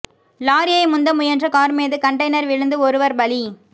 லாரியை முந்த முயன்ற கார் மீது கண்டெய்னர் விழுந்து ஒருவர் பலி